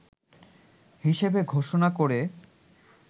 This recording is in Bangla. হিসেবে ঘোষনা করে